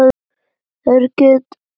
Það gekk allt vel.